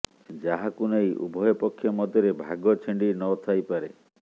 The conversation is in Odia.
ଯାହାକୁ ନେଇ ଉଭୟ ପକ୍ଷ ମଧ୍ୟରେ ଭାଗ ଛିଣ୍ଡି ନ ଥାଇପାରେ